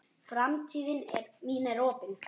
Framtíð mín er opin.